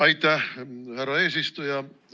Aitäh, härra eesistuja!